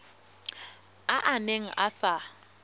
a a neng a sa